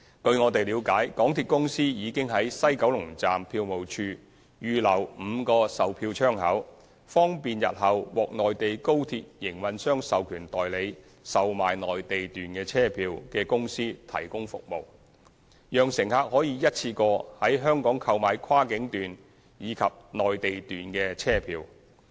據我們了解，港鐵公司已經在西九龍站票務處預留5個售票窗口，方便日後獲內地高鐵營運商授權代理售賣內地段車票的公司提供服務，讓乘客可一次過在香港購買跨境段及內地段車票。